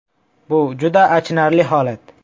Bu juda achinarli holat.